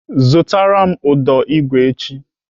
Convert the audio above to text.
Zụtara m ụdọ igwe echi!